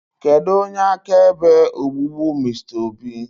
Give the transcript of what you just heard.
kedu onye akaebe ogbugbu Mr obi?